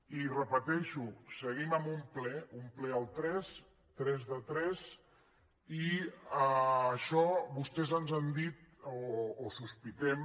i ho repeteixo seguim amb un ple un ple al tres tres de tres i això vostès ens han dit o sospitem